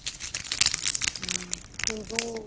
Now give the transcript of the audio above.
Hindu